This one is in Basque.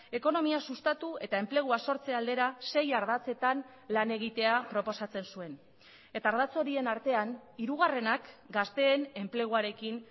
ekonomia sustatu eta enplegua sortze aldera sei ardatzetan lan egitea proposatzen zuen eta ardatz horien artean hirugarrenak gazteen enpleguarekin